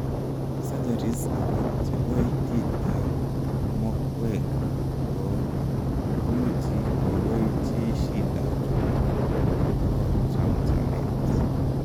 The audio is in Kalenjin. surgeries alag chebo itit ag mokweg ko imuchi kogoi chi shida chuton bo chamjamet